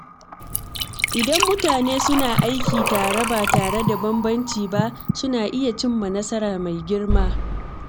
Idan mutane suna aiki tare ba tare da bambanci ba, suna iya cimma nasara mai girma.